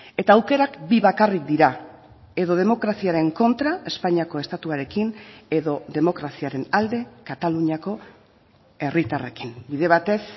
eta aukerak bi bakarrik dira edo demokraziaren kontra espainiako estatuarekin edo demokraziaren alde kataluniako herritarrekin bide batez